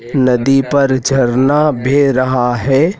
नदी पर झरना बेह रहा है।